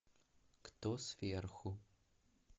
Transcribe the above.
кто сверху